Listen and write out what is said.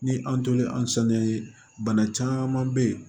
Ni an tolen an saniya bana caman bɛ ye